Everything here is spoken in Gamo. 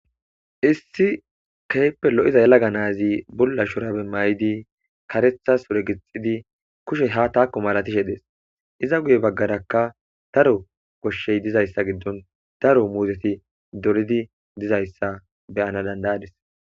Issi keeppe lo'iza yalaga naazi bulla shorabe may'idi karetha ure gixxidi kushe ha taakko malatishe dees iza guye baggarakka daro koshshey dizayssa giddon daro muzeti doridi dizayssa beyana dandayadis.